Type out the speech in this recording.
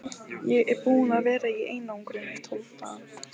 Ég er búinn að vera í einangrun í tólf daga.